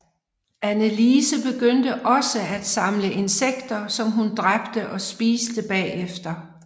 Anneliese begyndte også at samle insekter som hun dræbte og spiste bagefter